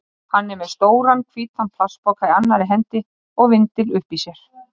Hann er með stóran, hvítan plastpoka í annarri hendi og vindil uppi í sér.